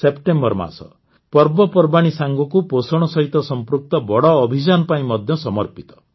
September ମାସ ପର୍ବପର୍ବାଣୀ ସାଙ୍ଗକୁ ପୋଷଣ ସହିତ ସମ୍ପୃକ୍ତ ବଡ଼ ଅଭିଯାନ ପାଇଁ ମଧ୍ୟ ସମର୍ପିତ